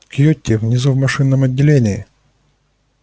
кьюти внизу в машинном отделении